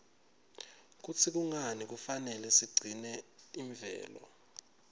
kutsi kungani kufanele sigcine imvelo